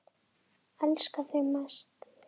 Elska þig mest.